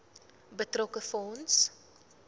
betrokke fonds